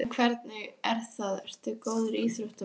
En hvernig er það, ertu góður íþróttamaður?